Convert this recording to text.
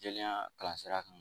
Jɛlenya kalan sira kan